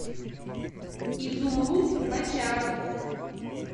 изумруд бочаров